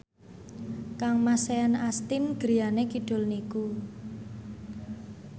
kangmas Sean Astin griyane kidul niku